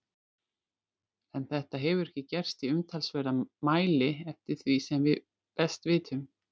En þetta hefur ekki gerst í umtalsverðum mæli eftir því sem við best vitum.